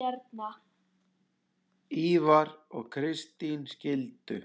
Ívar og Kristín skildu.